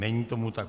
Není tomu tak.